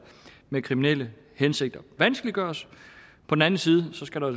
med kriminelle hensigter vanskeliggøres på den anden side skal der